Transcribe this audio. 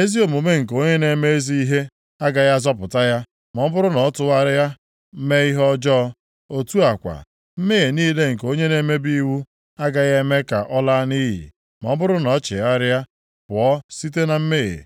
‘Ezi omume nke onye na-eme ezi ihe agaghị azọpụta ya ma ọ bụrụ na ọ tụgharịa, mee ihe ọjọọ. Otu a kwa, mmehie niile nke onye na-emebi iwu agaghị eme ka ọ laa nʼiyi ma ọ bụrụ na o chegharịa pụọ site na mmehie.’